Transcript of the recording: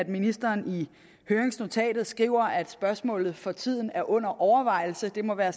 ministeren skriver at spørgsmålet for tiden er under overvejelse det må være